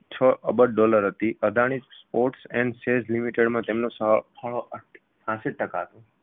છ અબજ દોલર હતી અદાણી ports andSEZlimited માં સ ફાળો છ્યાશી ટકા